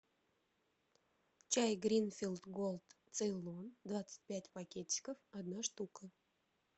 чай гринфилд голд цейлон двадцать пять пакетиков одна штука